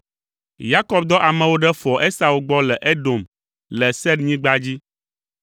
Yakob dɔ amewo ɖe foa Esau gbɔ le Edom le Seirnyigba dzi.